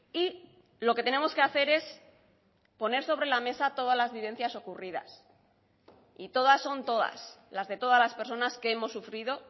y lo que tenemos que hacer es poner sobre la mesa todas las vivencias ocurridas y todas son todas las de todas las personas que hemos sufrido